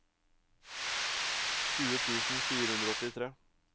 tjue tusen fire hundre og åttitre